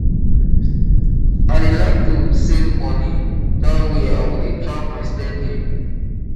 i dey like to save money dat way i go dey track my spending